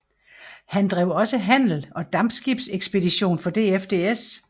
Han drev også handel og dampskibsekspedition for DFDS